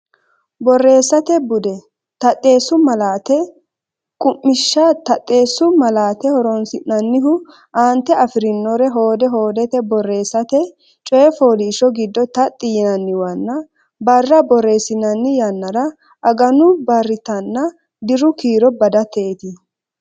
Borreessate Bude: Taxxeessu Malaate Qummishsha Taxxeessu malaate horonsi’nannihu: aante afi’rinore hoode hoodete borreessate, coy fooliishsho giddo taxxi yinanniwanna barra borreessinanni yannara aganu barritanna diru kiiro badateeti.